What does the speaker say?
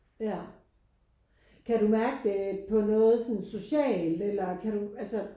Ja kan du mærke det på noget sådan socialt eller kan du altså